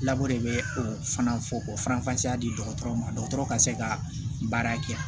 labɔ de bɛ o fana fɔ o faranfasiya di dɔgɔtɔrɔ ma dɔgɔtɔrɔ ka se ka baara kɛ